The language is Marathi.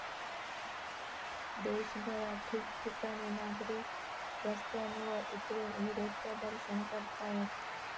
देशभरात ठिकठिकाणी नागरिक रस्त्यांवर उतरुन विरोध प्रदर्शन करतायत.